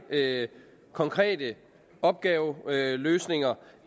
konkrete opgaveløsninger